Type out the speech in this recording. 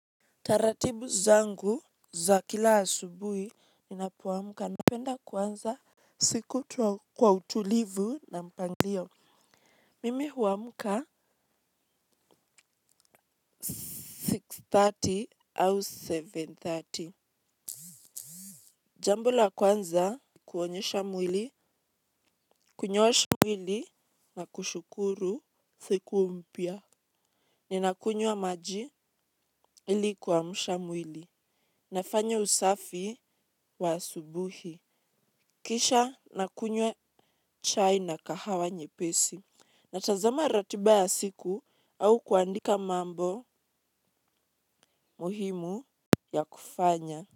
Taratibu zangu za kila asubuhi ninapoamka napenda kuanza siku kwa utulivu na mpangilio. Mimi huamuka six thati au seven thati. Jambo la kwanza kuonyesha mwili, kunyoosha mwili na kushukuru siku mpya. Ninakunywa maji ili kuamsha mwili. Nafanya usafi wa asubuhi. Kisha nakunywa chai na kahawa nyepesi na tazama ratiba ya siku au kuandika mambo muhimu ya kufanya.